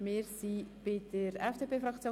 Wir kommen zur FDP-Fraktion.